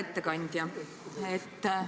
Hea ettekandja!